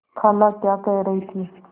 खाला क्या कह रही थी